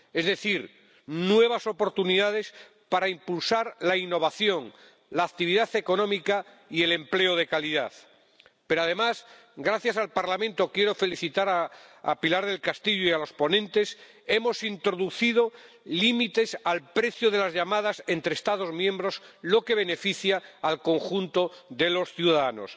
Es decir, nuevas oportunidades para impulsar la innovación, la actividad económica y el empleo de calidad. Pero además, gracias al Parlamento —quiero felicitar a Pilar del Castillo y a los ponentes—, hemos introducido límites al precio de las llamadas entre Estados miembros, lo que beneficia al conjunto de los ciudadanos.